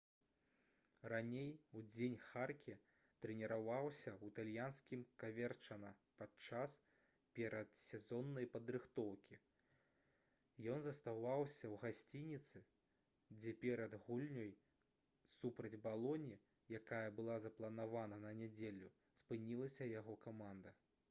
раней удзень харке трэніраваўся ў італьянскім каверчана падчас перадсезоннай падрыхтоўкі ён заставаўся ў гасцініцы дзе перад гульнёй супраць балоні якая была запланавана на нядзелю спынілася яго каманда